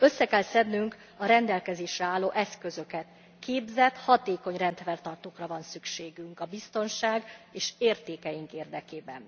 Össze kell szednünk a rendelkezésre álló eszközöket, képzett, hatékony rendfenntartókra van szükség a biztonság és értékeink érdekében.